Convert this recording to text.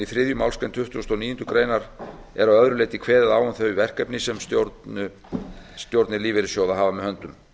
þriðju málsgrein tuttugustu og níundu grein er að öðru leyti kveðið á um þau verkefni sem stjórnir lífeyrissjóða hafa með höndum